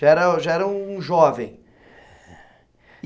Já era, já era um jovem.